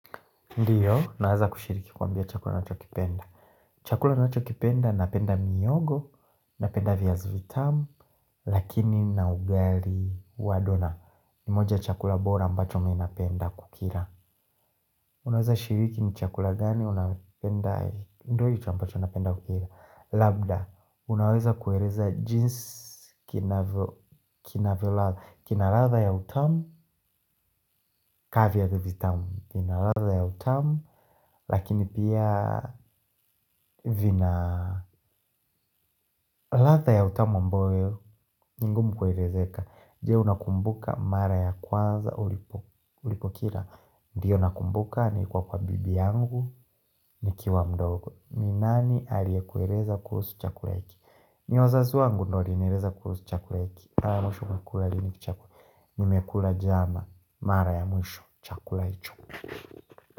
Ndiyo, naweza kushiriki kuambia chakula nacho kipenda. Chakula nacho kipenda, napenda mihogo, napenda viazi vitamu, lakini na ugali wa dona. Ni moja ya chakula bora ambacho mi napenda kukila. Unaweza shiriki ni chakula gani unapenda? Ndo hivho ambacho napenda kukila. Labda, unaweza kueleza jinsi kina ladha ya utamu, ka viazi vitamu. Vina ladha ya utamu. Lakini pia vina ladha ya utamu ambayo ni ngumu kuelezeka. Je, unakumbuka mara ya kwanza. Ulipo kila. Ndiyo nakumbuka nilikuwa kwa bibi yangu. Nikiwa mdogo ni nani aliye kueleza kuhusu chakula hiki. Ni wazazi wangu ndio walinieleza kuhusu chakula hiki. Nimekula jana. Mara ya mwisho chakula hicho.